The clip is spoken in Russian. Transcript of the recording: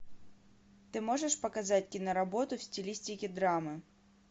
ты можешь показать киноработу в стилистике драмы